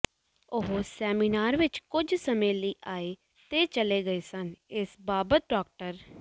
ਉਹ ਸੈਮੀਨਾਰ ਵਿਚ ਕੁੱਝ ਸਮੇਂ ਲਈ ਆਏ ਤੇ ਚਲੇ ਗਏ ਸਨ ਇਸ ਬਾਬਤ ਡਾ